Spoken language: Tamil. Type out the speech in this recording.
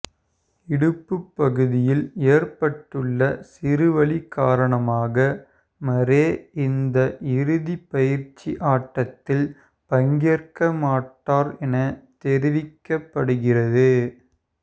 இடுப்புப் பகுதியில் ஏற்பட்டுள்ள சிறு வலி காரணமாக மரே இந்த இறுதிப் பயிற்சி ஆட்டத்தில் பங்கேற்க மாட்டார் என தெரிவிக்கப்படுகிறது